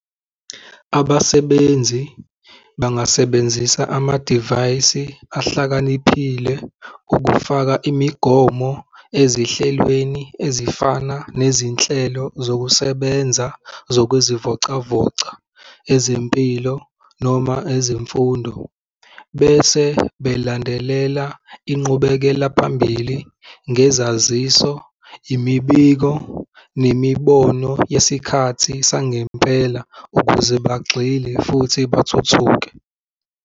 Abasebenzi bangasebenzisa amadivayisi ahlakaniphile ukufaka imigomo ezihlelweni ezifana nezinhlelo zokusebenza zokuzivocavoca, ezempilo noma ezemfundo bese belandelela inqubekela phambili ngezaziso, imibiko, nemibono yesikhathi sangempela ukuze bagxile futhi bathuthuke.